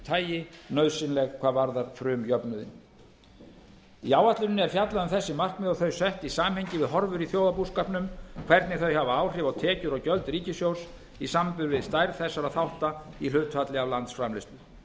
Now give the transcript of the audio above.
tagi nauðsynleg hvað varðar frumjöfnuðinn í áætluninni er fjallað um þessi markmið og þau sett í samhengi við horfur í þjóðarbúskapnum hvernig þau hafa áhrif á tekjur og gjöld ríkissjóðs í samanburði við stærð þessara þátta í hlutfalli af landsframleiðslu